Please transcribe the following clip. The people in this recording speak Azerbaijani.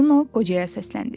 Çipollino qocaya səsləndi.